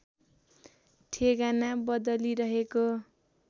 ठेगाना बदली रहेको